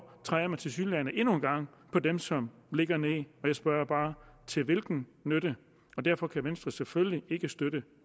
træder man tilsyneladende endnu en gang på dem som ligger ned og jeg spørger bare til hvilken nytte derfor kan venstre selvfølgelig ikke støtte